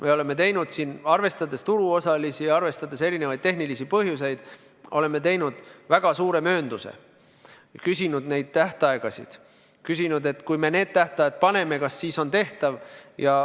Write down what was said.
Me oleme arvestades turuosalisi, arvestades erinevaid tehnilisi põhjusi teinud väga suure möönduse, küsinud tähtaegade kohta, küsinud, et kui me need tähtajad paneme, kas siis on tehtav.